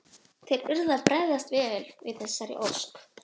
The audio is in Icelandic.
Þeir urðu að bregðast vel við þessari ósk.